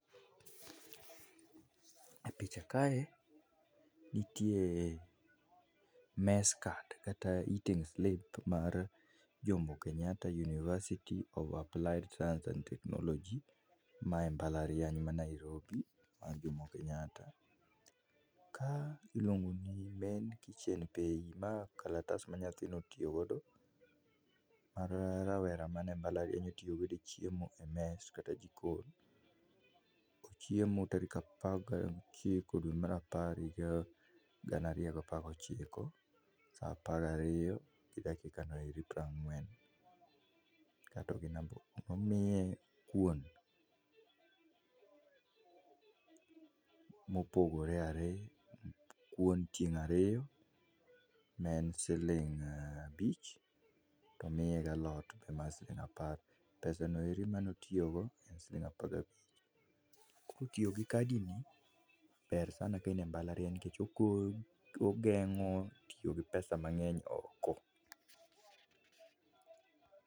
Epicha kae nitie mess-card kata eating-slip mar Jomo Kenyatta University of Applied Science Technology. Mae mbalariany mar Nairobi mar Jomo Kenyatta. Ka iluongo ni main-kitchen piny . Ma kalatas ma nyathino otiyogodo, ma rawera manie malariany otiyogo e mess kata jikon. Ochiemo tarik apar gi ochiko dwe mar apar higa gana ariyo gapar gochiko, saa apar gariyo gi dakika piro ang'wen. Nomiye kuon mopore ariyo, kuon tieng' ariyo ma en siling abich, to omiye gi alot mar siling' apar. Pesano motiyogo en siling apar-gi-abich. tiyo gi kadi-ni ber sana ka in e mbalariany nikech ogeng'o tiyo gi pesa mang'eny oko